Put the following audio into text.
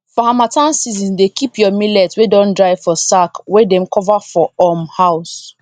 for harmattan season dey keep your millet wey don dry for sack wey dem cover for um house